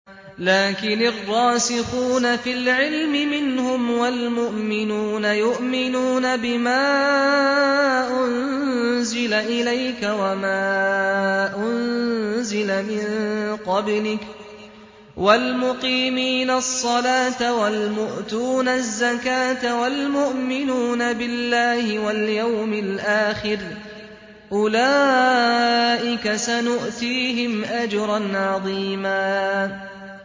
لَّٰكِنِ الرَّاسِخُونَ فِي الْعِلْمِ مِنْهُمْ وَالْمُؤْمِنُونَ يُؤْمِنُونَ بِمَا أُنزِلَ إِلَيْكَ وَمَا أُنزِلَ مِن قَبْلِكَ ۚ وَالْمُقِيمِينَ الصَّلَاةَ ۚ وَالْمُؤْتُونَ الزَّكَاةَ وَالْمُؤْمِنُونَ بِاللَّهِ وَالْيَوْمِ الْآخِرِ أُولَٰئِكَ سَنُؤْتِيهِمْ أَجْرًا عَظِيمًا